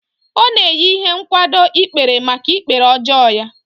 Ọ na-eyi ihe nkwado ikpere maka ikpere ọjọọ ya